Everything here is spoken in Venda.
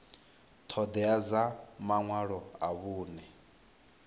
ṱhoḓea dza maṅwalo a vhuṅe